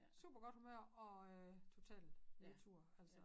Super godt humør og øh totalt nedtur altså